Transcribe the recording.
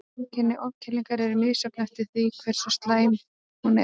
Einkenni ofkælingar eru misjöfn eftir því hversu slæm hún er.